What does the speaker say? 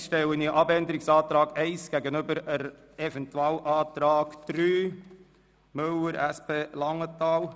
Als Nächstes stelle ich den Abänderungsantrag 1 dem Eventualantrag 3 Müller/SP gegenüber.